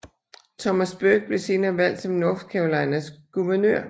Thomas Burke blev senere valgt som North Carolinas guvernør